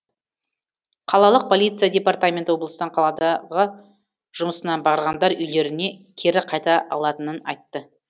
қалалық полиция департаменті облыстан қаладағы жұмысына барғандар үйлеріне кері қайта алатынын айтты